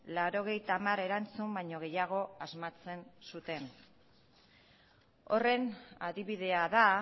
laurogeita hamar erantzun baino gehiago asmatzen zuten horren adibidea da